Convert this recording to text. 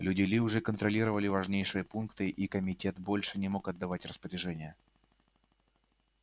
люди ли уже контролировали важнейшие пункты и комитет больше не мог отдавать распоряжения